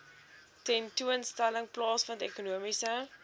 tentoonstelling plaasvind ekonomiese